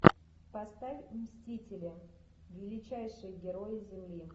поставь мстители величайшие герои земли